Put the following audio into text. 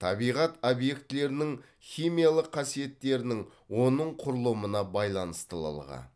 табиғат объектілерінің химиялық қасиеттерінің оның құрылымына байланыстылылығы